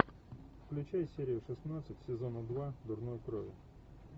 включай серию шестнадцать сезона два дурной крови